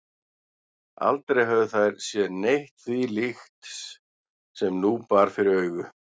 Aldrei höfðu þær séð neitt því líkt sem nú bar fyrir augu.